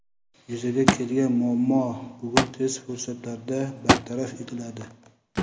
Yuzaga kelgan muammo bugun tez fursatlarda bartaraf etiladi.